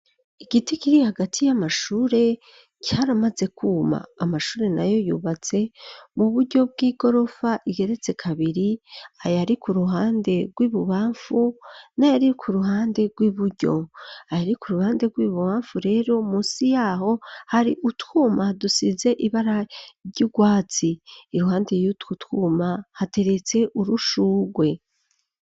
Igiti kiri hagati y'amashure caramaze kwuma, amashure nayo yubatse mu buryo bw'igorofa igeretse kabiri, ayari ku ruhande rw'ibubamfu n'ayari ku ruhande rw'iburyo. Ayari ku ruhande rw'ibubamfu rero, musi y'aho hari utwuma dusize ibara ry'urwatsi. Iruhande yutwo twuma hateretse urushurwe.